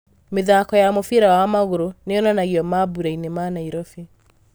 Mĩthako ya mũbira wa magũrũ niyonanagio mambũrainĩ ma Nairobi.